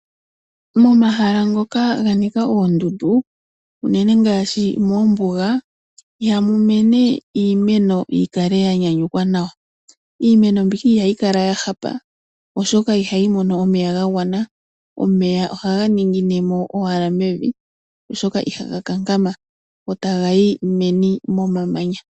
Momahala ngoka ga nika oondundu unene ngaashi moombuga, ihamu mene iimeno yi kale ya nyanyukwa nawa. Iimeno mbika ihayi kala ya hala oshoka ihayi mono omeya ga gwana. Omeya ohaga ningine mo owala mevi oshoka ihaga kankama go taga yi meni momamanya.